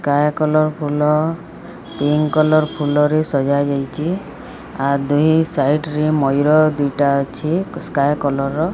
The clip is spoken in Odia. ସ୍କାଏ କଲର୍ ଫୁଲ ପିଙ୍କ୍ କଲର୍ ଫୁଲରେ ସଜା ଜାଇଚି ଆଉ ଦୁଇ ସାଇଟି ରେ ମୟୁର ଦିଟା ଅଛି ସ୍କାଏ କଲର୍ ।